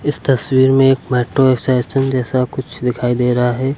इस तस्वीर में एक मेट्रो स्टेशन जैसा कुछ दिखाई दे रहा है।